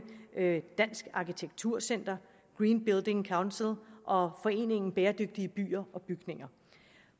dansk arkitektur center green building council og foreningen bæredygtige byer og bygninger